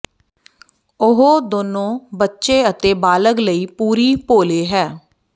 ਉਹ ਦੋਨੋ ਬੱਚੇ ਅਤੇ ਬਾਲਗ ਲਈ ਪੂਰੀ ਭੋਲੇ ਹੈ